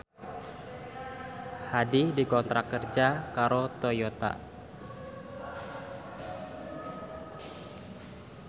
Hadi dikontrak kerja karo Toyota